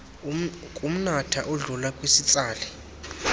kumnatha odlula kwisitsali